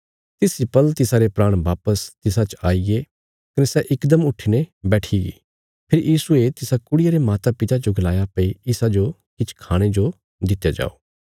तिस इ पल तिसारे प्राण वापस तिसा च आईगे कने सै इकदम उट्ठीने बैठिगी फेरी यीशुये तिसा कुड़िया रे मातापिता जो गलाया भई इसाजो किछ खाणे जो दित्या जाओ